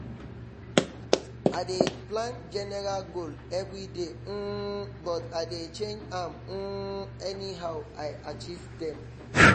i dey plan general goal everyday um but i dey change am um anyhow i achieve dem